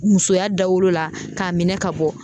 Musoya dawolo la k'a minɛ ka bɔ.